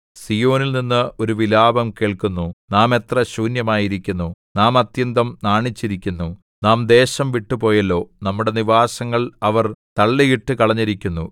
സീയോനിൽനിന്ന് ഒരു വിലാപം കേൾക്കുന്നു നാം എത്ര ശൂന്യമായിരിക്കുന്നു നാം അത്യന്തം നാണിച്ചിരിക്കുന്നു നാം ദേശം വിട്ടുപോയല്ലോ നമ്മുടെ നിവാസങ്ങൾ അവർ തള്ളിയിട്ടുകളഞ്ഞിരിക്കുന്നു